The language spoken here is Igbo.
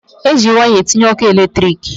E ji waya etinye ọkụ eletriki.